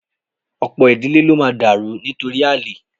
Ọ̀pọ̀ ìdílé ló máa dàrú nítorí àlè